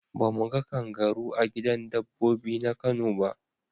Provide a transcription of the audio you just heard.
Ba mu ga kangaru a gidan dabbobi na kano ba.